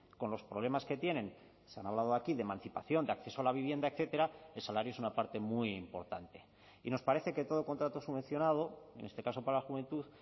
con los problemas que tienen se han hablado aquí de emancipación de acceso a la vivienda etcétera el salario es una parte muy importante y nos parece que todo contrato subvencionado en este caso para la juventud